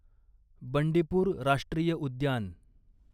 बंडीपूर राष्ट्रीय उद्यान